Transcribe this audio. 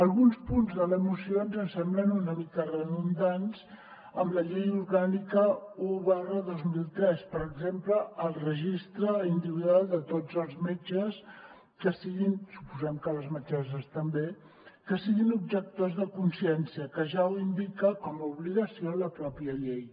alguns punts de la moció ens semblen una mica redundants amb la llei orgànica un dos mil vint tres per exemple el registre individual de tots els metges suposem que les metgesses també que siguin objectors de consciència que ja ho indica com a obligació la pròpia llei